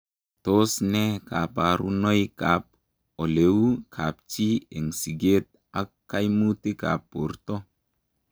Tos ne kabarunoik ap oleu kapchii eng sigeet ak kaimutik ap bortoo